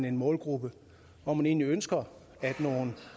en målgruppe hvor man egentlig ønsker at nogle